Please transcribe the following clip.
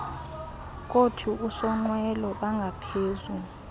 kothi usonqwelo bangaphezu